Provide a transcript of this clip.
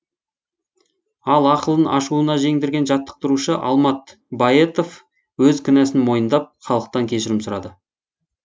ал ақылын ашуына жеңдірген жаттықтырушы алмат баетов өз кінәсін мойындап халықтан кешірім сұрады